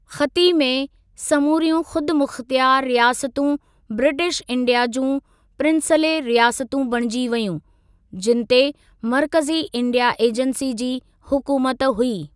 ख़ती में समूरियूं ख़ुदि मुख़त्यार रियासतूं ब्रिटिश इंडिया जूं प्रिंसले रियासतूं बणिजी वेयूं, जिनि ते मर्कज़ी इंडिया एजंसी जी हुकूमत हुई।